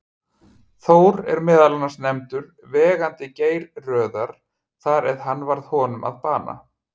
Þór er meðal annars nefndur vegandi Geirröðar þar eð hann varð honum að bana.